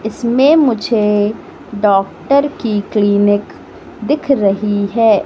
इसमें मुझे डॉक्टर की क्लीनिक दिख रही है।